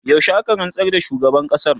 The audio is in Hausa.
yaushe aka rantsar da shugaban ƙasar?